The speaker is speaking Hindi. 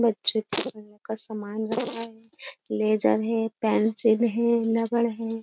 बच्चे सामान रखा है। ले जा रहे हैं पेंसिल है लबड़ है।